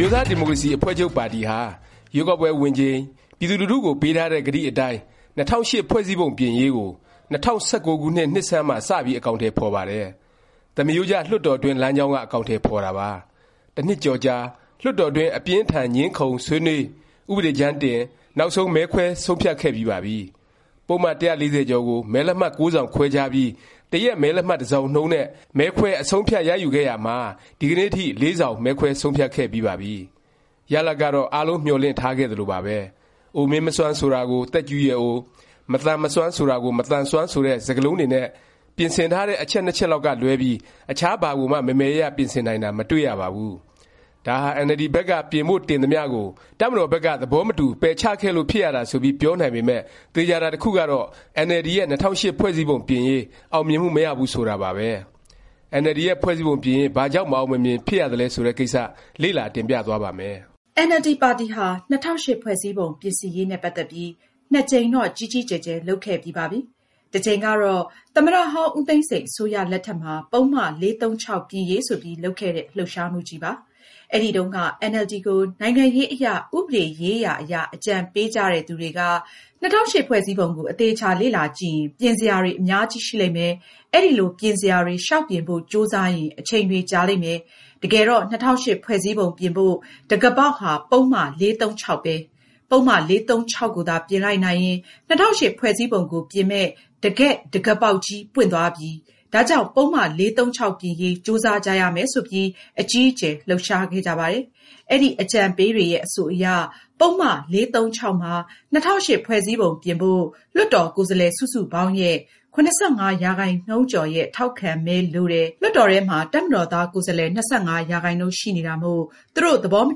မျိုးသားဒီမိုကရေစီ အဖွဲ့ချုပ်ပါတီဟာ ရွေးကောက်ပွဲဝင်ချိန် ပြည်သူလူထုကို ပေးထားတဲ့ ကတိအတိုင်း ၂၀၀၈ ဖွဲ့စည်းပုံပြင်ရေးကို ၂၀၁၉ ခုနှစ် နှစ်ဆန်းမှာ စပြီး အကောင်အထည် ဖော်ပါတယ်။ သမရိုးကျ လွှတ်တော်တွင်း လမ်းကြောင်းက အကောင်အထည် ဖော်တာပါ။ တစ်နှစ်ကျော်ကြာ လွှတ်တော်တွင်း အပြင်းအထန် ငြင်းခုံ၊ ဆွေးနွေး၊ ဥပဒေကြမ်းတင်၊ နောက်ဆုံး မဲခွဲဆုံးဖြတ်ခဲ့ပြီးပါပြီ။ ပုဒ်မ ၁၄၀ ကျော်ကို မဲလက်မှတ်(၉) စောင်ခွဲခြားပြီး တစ်ရက် မဲလက်မှတ် တစ်စောင်နှုန်းနဲ့ မဲခွဲ အဆုံးအဖြတ် ရယူခဲ့ရာမှာ ဒီကနေ့အထိ (၄) စောင် မဲခွဲဆုံးဖြတ်ခဲ့ပြီးပါပြီ။ ရလာဒ်ကတော့ အားလုံး မျှော်လင့်ထားခဲ့သလိုပါပဲ။ “ အိုမင်းမစွမ်း” ဆိုတာကို “ သက်ကြီးရွယ်အို” “ မသန်မစွမ်း” ကို “ မသန်စွမ်း” ဆိုတဲ့ စကားလုံးတွေနဲ့ ပြင်ဆင်ထားတဲ့ အချက်(၂) ချက်လောက်ကလွဲပြီး အခြားဘာကိုမှ မယ်မယ်ရရ ပြင်ဆင်နိုင်တာ မတွေ့ရပါဘူး။ ဒါဟာ အင်န်အယ်လ်ဒီ ဘက်က ပြင်ဖို့ တင်သမျှကို တပ်မတော်ဘက်က သဘောမတူ ပယ်ချခဲ့လို့ ဖြစ်ရတာ ဆိုပြီး ပြောနိုင်ပေမယ့် သေခြာတာ တစ်ခုကတော့ အင်န်အယ်လ်ဒီရဲ့ ၂၀၀၈ ဖွဲ့စည်းပုံ ပြင်ရေး အောင်မြင်မှု မရဘူး ဆိုတာပါပဲ။ အင်န်အယ်လ်ဒီ ရဲ့ ဖွဲ့စည်းပုံပြင်ရေး ဘာကြောင့် မအောင်မမြင် ဖြစ်ရသလဲ ဆိုတဲ့ကိစ္စ လေ့လာ တင်ပြသွားပါ့မယ်။ အင်န်အယ်လ်ဒီ ပါတီဟာ ၂၀၀၈ ဖွဲ့စည်းပုံပြင်ရေးနဲ့ ပတ်သက်ပြီး နှစ်ကြိမ်တော့ ကြီးကြီးကျယ်ကျယ် လုပ်ခဲ့ပြီးပါပြီ။ တစ်ကြိမ်ကတော့ သမ္မတဟောင်း ဦးသိန်းစိန် အစိုးရ လက်ထက်မှာ ပုဒ်မ ၄၃၆ ပြင်ရေး ဆိုပြီး လုပ်ခဲ့တဲ့ လှုပ်ရှားမှုကြီးပါ။ အဲဒီတုန်းက အင်န်အယ်လ်ဒီ ကို နိုင်ငံရေးအရ၊ ဥပဒေရေးရာ အရ အကြံပေးကြတဲ့သူတွေက ၂၀၀၈ ဖွဲ့စည်းပုံကို အသေအခြာ လေ့လာကြည့်ရင် ပြင်စရာတွေ အများကြီး ရှိလိမ့်မယ်၊ အဲလို ပြင်စရာတွေ လျောက်ပြင်ဖို့ ကြိုးစားရင် အချိန်တွေကြာလိမ့်မယ်၊ တကယ်တော့ ၂၀၀၈ ဖွဲ့စည်းပုံပြင်ဖို့ တံခါးပေါက်ဟာ ပုဒ်မ ၄၃၆ ပဲ။ ပုဒ်မ ၄၃၆ ကိုသာ ပြင်လိုက်နိုင်ရင် ၂၀၀၈ ဖွဲ့စည်းပုံကို ပြင်မယ့် တကယ့် တံခါးပေါက်ကြီး ပွင့်သွားပြီ၊ ဒါကြောင့် ပုဒ်မ ၄၃၆ ပြင်ရေး ကြိုးစားကြရမယ် ဆိုပြီး အကြီးအကျယ် လှုပ်ရှားခဲ့ကြပါတယ်။ အဲဒီ အကြံပေးတွေရဲ့ အဆိုအရ ပုဒ်မ ၄၃၆ မှာ ၂၀၀၈ ဖွဲ့စည်းပုံ ပြင်ဖို့ လွှတ်တော် ကိုယ်စားလှယ် စုစုပေါင်းရဲ့ ၇၅ ရာခိုင်နှုန်းကျော်ရဲ့ ထောက်ခံမဲ လိုတယ်၊ လွှတ်တော်ထဲမှာ တပ်မတော်သား ကိုယ်စားလှယ် ၂၅ ရာခိုင်နှုန်း ရှိနေတာမို့ သူတို့ သဘောမ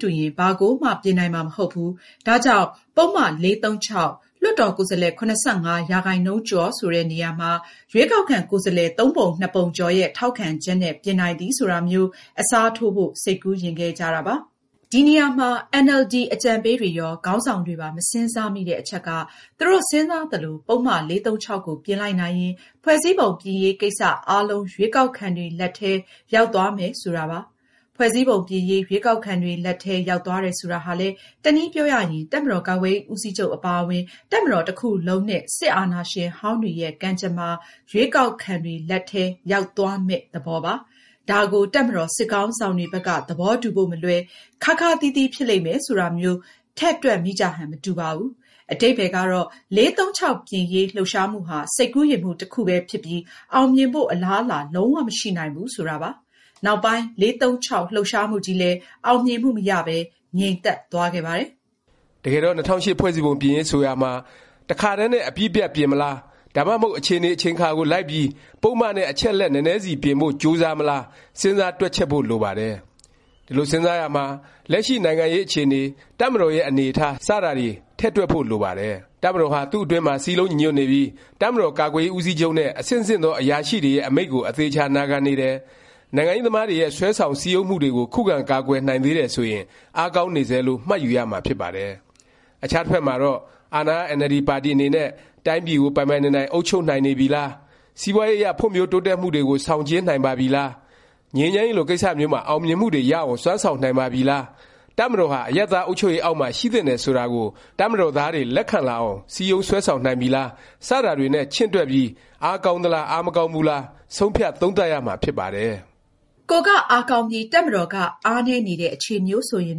တူရင် ဘာကိုမှ ပြင်နိုင်မှာ မဟုတ်ဘူး၊ ဒါကြောင့် ပုဒ်မ ၄၃၆၊ လွှတ်တော်ကိုယ်စားလှယ် ၇၅ ရာခိုင်နှုန်းကျော် ဆိုတဲ့ နေရာမှာ ရွေးကောက်ခံ ကိုယ်စားလှယ် ၃ ပုံ ၂ပုံကျော်ရဲ့ ထောက်ခံချက်နဲ့ ပြင်နိုင်သည် ဆိုတာမျိုး အစားထိုးဖို့ စိတ်ကူးယဉ်ခဲ့ကြတာပါ။ ဒီနေရာမှာ အင်န်အယ်လ်ဒီ အကြံပေးတွေရော၊ ခေါင်းဆောင်တွေပါ မစဉ်းစားမိတဲ့ အချက်က သူတို့ စဉ်းစားသလို ပုဒ်မ ၄၃၆ ကို ပြင်လိုက်နိုင်ရင် ဖွဲ့စည်းပုံပြင်ရေး ကိစ္စ အားလုံး ရွေးကောက်ခံတွေ လက်ထဲ ရောက်သွားမယ် ဆိုတာပါ။ ဖွဲ့စည်းပုံပြင်ရေး ရွေးကောက်ခံတွေ လက်ထဲ ရောက်သွားတယ် ဆိုတာဟာလည်း တနည်းပြောရရင် တပ်မတော်ကာကွယ်ရေး ဦးစီးချုပ် အပါအဝင် တပ်မတော်တစ်ခုလုံး နဲ့ စစ်အာဏာရှင်ဟောင်းတွေရဲ့ ကံကြမ္မာ ရွေးကောက်ခံတွေ လက်ထဲ ရောက်သွားမယ့် သဘောပါ။ ဒါကို တပ်မတော် စစ်ခေါင်းဆောင်တွေဘက်က သဘောတူဖို့ မလွယ်၊ ခါးခါးသီးသီး ဖြစ်လိမ့်မယ် ဆိုတာမျိုး ထည့်တွက်မိကြဟန် မတူပါဘူး။ အဓိပ္ပါယ်ကတော့ ၄၃၆ ပြင်ရေး လှုပ်ရှားမှုဟာ စိတ်ကူးယဉ်မှု တစ်ခုပဲ ဖြစ်ပြီး အောင်မြင်ဖို့ အလားအလာ လုံး၀ မရှိနိုင်ဘူး ဆိုတာပါ။ နောက်ပိုင်း ၄၃၆ လှုပ်ရှားမှုကြီးလည်း အောင်မြင်မှု မရပဲ ငြိမ်သက်သွားခဲ့ပါတယ်။ တကယ်တော့ ၂၀၀၈ ဖွဲ့စည်းပုံပြင်ရေး ဆိုရာမှာ တစ်ခါတည်းနဲ့ အပြီးအပြတ် ပြင်မလား၊ ဒါမှမဟုတ် အခြေအနေ အချိန်အခါကို လိုက်ပြီး ပုဒ်မ နဲ့ အချက်အလက် နည်းနည်းစီ ပြင်ဖို့ ကြိုးစားမလား စဉ်းစားတွက်ချက်ဖို့ လိုပါတယ်။ ဒီလို စဉ်းစားရာမှာ လက်ရှိ နိုင်ငံရေး အခြေအနေ၊ တပ်မတော်ရဲ့ အနေအထား စတာတွေ ထည့်တွက်ဖို့ လိုပါတယ်။ တပ်မတော်ဟာ သူ့အတွင်းမှာ စည်းလုံးညီညွတ်နေပြီး၊ တပ်မတော်ကာကွယ်ရေး ဦးစီးချုပ်နဲ့ အဆင့်ဆင့်သော အရာရှိတွေရဲ့ အမိန့်ကို အသေအခြာ နာခံနေတယ်၊ နိုင်ငံရေးသမားတွေရဲ့ ဆွဲဆောင် စည်းရုံးမှုတွေကို ခုခံ ကာကွယ် နိုင်သေးတယ် ဆိုရင် အားကောင်းနေဆဲလို့ မှတ်ယူရမှာ ဖြစ်ပါတယ်။ အခြားတစ်ဖက်မှာတော့ အာဏာရ အင်န်အယ်လ်ဒီ ပါတီ အနေနဲ့ တိုင်းပြည်ကို ပိုင်ပိုင်နိုင်နိုင် အုပ်ချုပ်နိုင်နေပြီလား၊ စီးပွားရေး အရ ဖွံ့ဖြိုးတိုးတက်မှုတွေကို ဆောင်ကျဉ်းနိုင်ပါပြီလား၊ ငြိမ်းချမ်းရေးလို ကိစ္စမျိုးမှာ အောင်မြင်မှုတွေ ရအောင် စွမ်းဆောင်နိုင်ပါပြီလား၊ တပ်မတော်ဟာ အရပ်သား အုပ်ချုပ်ရေး အောက်မှာ ရှိသင့်တယ် ဆိုတာကို တပ်မတော်သားတွေ လက်ခံလာအောင် စည်းရုံးဆွဲဆောင်နိုင်ပြီလား၊ စတာတွေနဲ့ ချင့်တွက်ပြီး အားကောင်းသလား အားမကောင်းဘူးလား ဆုံးဖြတ် သုံးသပ်ရမှာ ဖြစ်ပါတယ်။ ကိုယ်က အားကောင်းပြီး တပ်မတော်က အားနည်းနေတဲ့ အခြေအနေမျိုးဆိုရင်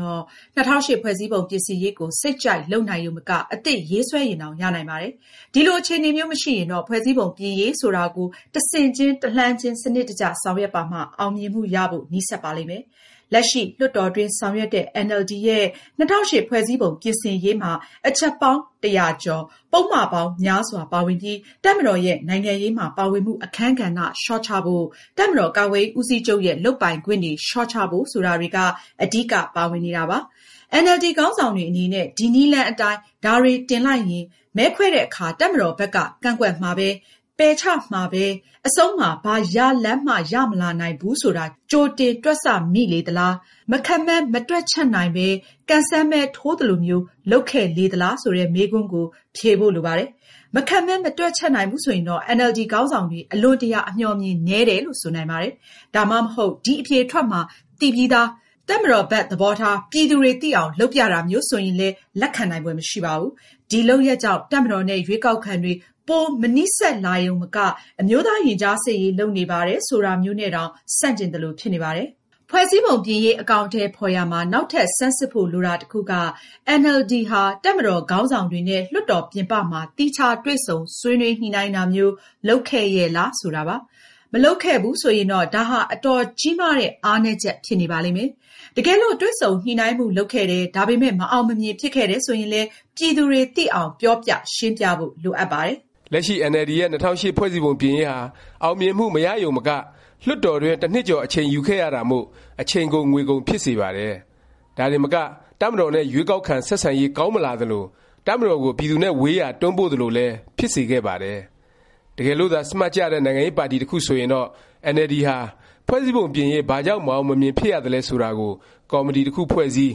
တော့ ၂၀၀၈ ဖွဲ့စည်းပုံ ပြင်ဆင်ရေးကို စိတ်ကြိုက်လုပ်နိုင်ရုံမက အသစ်ရေးဆွဲရင်တောင် ရနိုင်ပါတယ်။ ဒီလို အခြေအနေမျိုး မရှိရင်တော့ ဖွဲ့စည်းပုံ ပြင်ရေး ဆိုတာကို တစ်ဆင့်ချင်း၊ တစ်လှမ်းချင်း စနစ်တကျ ဆောင်ရွက်ပါမှ အောင်မြင်မှု ရဖို့ နီးစပ်ပါလိမ့်မယ်။ လက်ရှိ လွှတ်တော်တွင်း ဆောင်ရွက်တဲ့ အင်န်အယ်လ်ဒီ ရဲ့ ၂၀၀၈ ဖွဲ့စည်းပုံ ပြင်ဆင်ရေးမှာ အချက်ပေါင်း ၁၀၀ကျော်၊ ပုဒ်မပေါင်းများစွာ ပါဝင်ပြီး တပ်မတော်ရဲ့ နိုင်ငံရေးမှာ ပါဝင်မှု အခန်းကဏ္ဍ လျော့ချဖို့၊ တပ်မတော် ကာကွယ်ရေး ဦးစီးချုပ်ရဲ့ လုပ်ပိုင်ခွင့်တွေ လျော့ချဖို့ ဆိုတာတွေက အဓိက ပါဝင်နေတာပါ။ အင်န်အယ်လ်ဒီ ခေါင်းဆောင်တွေ အနေနဲ့ ဒီနည်းလမ်းအတိုင်း ဒါတွေတင်လိုက်ရင် မဲခွဲတဲ့အခါ တပ်မတော်ဘက်က ကန့်ကွက်မှာပဲ၊ ပယ်ချမှာပဲ အဆုံးမှာ ဘာရလာဒ်မှ ရမလာနိုင်ဘူး ဆိုတာ ကြိုတင် တွက်ဆ မိလေသလား၊ မခန့်မှန်း မတွက်ချက်နိုင်ပဲ ကံစမ်းမဲ ထိုးသလိုမျိုး လုပ်ခဲ့လေသလား ဆိုတဲ့ မေးခွန်းကို ဖြေဖို့ လိုပါတယ်။ မခန့်မှန်း မတွက်ချက်နိုင်ဘူး ဆိုရင်တော့ အင်န်အယ်လ်ဒီ ခေါင်းဆောင်တွေ အလွန်တရာ အမျှော်အမြင်နည်းတယ်လို့ ဆိုနိုင်ပါတယ်။ ဒါမှမဟုတ် ဒီအဖြေထွက်မှာ သိပြီးသား၊ တပ်မတော်ဘက် သဘောထား ပြည်သူတွေ သိအောင် လုပ်ပြတာမျိုး ဆိုရင်လည်း လက်ခံနိုင်ဖွယ် မရှိပါဘူး။ ဒီ လုပ်ရပ်ကြောင့် တပ်မတော်နဲ့ ရွေးကောက်ခံတွေ ပို မနီးစပ်လာရုံမက အမျိုးသားရင်ကြားစေ့ရေး လုပ်နေပါတယ် ဆိုတာမျိုးနဲ့တောင် ဆန့်ကျင်သလို ဖြစ်နေပါတယ်။ ဖွဲ့စည်းပုံပြင်ရေး အကောင်အထည် ဖော်ရာမှာ နောက်ထပ် ဆန်းစစ်ဖို့ လိုတာ တစ်ခုက အင်န်အယ်လ်ဒီဟာ တပ်မတော် ခေါင်းဆောင်တွေနဲ့ လွှတ်တော် ပြင်ပမှာ သီးခြား တွေ့ဆုံဆွေးနွေး ညှိနှိုင်းတာမျိုး လုပ်ခဲ့ရဲ့လား ဆိုတာပါ။ မလုပ်ခဲ့ဘူး ဆိုရင်တော့ ဒါဟာ အတော်ကြီးမားတဲ့ အားနည်းချက် ဖြစ်နေပါလိမ့်မယ်။ တကယ်လို့ တွေ့ဆုံညှိနှိုင်းမှု လုပ်ခဲ့တယ်၊ ဒါပေမယ့် မအောင်မမြင် ဖြစ်ခဲ့တယ် ဆိုရင်လည်း ပြည်သူတွေ သိအောင် ပြောပြ၊ ရှင်းပြဖို့ လိုအပ်ပါတယ်။ လက်ရှိ အင်န်အယ်လ်ဒီရဲ့ ၂၀၀၈ ဖွဲ့စည်းပုံပြင်ရေးဟာ အောင်မြင်မှု မရရုံမက လွှတ်တော်တွင်း တစ်နှစ်ကျော် အချိန်ယူခဲ့ရတာမို့ အချိန်ကုန် ငွေကုန် ဖြစ်စေပါတယ်။ ဒါတင်မက တပ်မတော်နဲ့ ရွေးကောက်ခံ ဆက်ဆံရေး ကောင်းမလာ သလို၊ တပ်မတော်ကို ပြည်သူနဲ့ ဝေးရာ တွန်းပို့သလိုလည်း ဖြစ်ခဲ့စေပါတယ်။ တကယ်လို့သာ စမတ်ကျတဲ့ နိုင်ငံရေးပါတီ တစ်ခု ဆိုရင်တော့ အင်န်အယ်လ်ဒီဟာ ဖွဲ့စည်းပုံပြင်ရေး ဘာကြောင့် မအောင်မမြင် ဖြစ်ရသလဲ ဆိုတာကို ကော်မတီတစ်ခု ဖွဲ့စည်း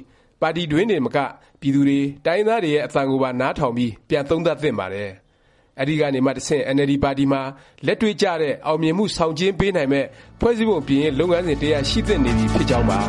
၊ ပါတီတွင်းတင်မက ပြည်သူတွေ၊ တိုင်းရင်းသားတွေရဲ့ အသံကိုပါ နားထောင်ပြီး ပြန်သုံးသပ်သင့်ပါတယ်။ အဲဒီကနေမှ တဆင့် အင်န်အယ်လ်ဒီပါတီမှာ လက်တွေ့ကျတဲ့၊ အောင်မြင်မှု ဆောင်ကျဉ်းပေးနိုင်မယ့် ဖွဲ့စည်းပုံပြင်ရေး လုပ်ငန်းစဉ် တစ်ရပ် ရှိသင့်နေပြီ ဖြစ်ကြောင်းပါ